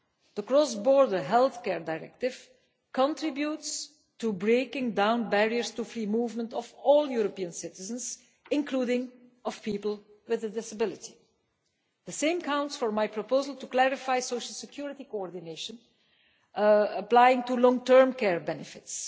The Cross border Healthcare Directive contributes to breaking down barriers to the free movement of all European citizens, including people with a disability. The same counts for my proposal to clarify social security coordination applying to long term care benefits.